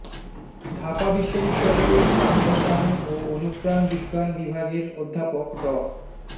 ঢাকা বিশ্ববিদ্যালয়ের প্রাণরসায়ন ও অনুপ্রাণ বিজ্ঞান বিভাগের অধ্যাপক ড